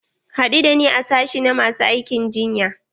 Haɗu da ni a sashi na masu aikin jinya.